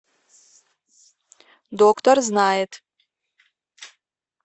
доктор знает